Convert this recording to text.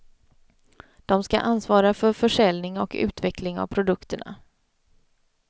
De ska ansvara för försäljning och utveckling av produkterna.